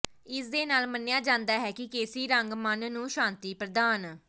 ਇਸ ਦੇ ਨਾਲ ਮੰਨਿਆ ਜਾਂਦਾ ਹੈ ਕਿ ਕੇਸਰੀ ਰੰਗ ਮਨ ਨੂੰ ਸ਼ਾਂਤੀ ਪ੍ਰਦਾਨ